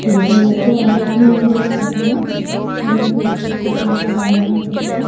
दिखाई दे रहे है और यहाँ पर विभिन प्रकार की गाडियां भी है ।